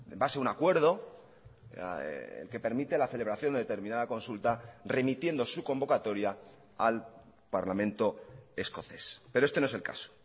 base a un acuerdo el que permite la celebración de determinada consulta remitiendo su convocatoria al parlamento escocés pero este no es el caso